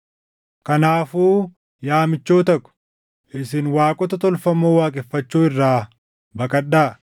Kanaafuu yaa michoota ko, isin waaqota tolfamoo waaqeffachuu irraa baqadhaa.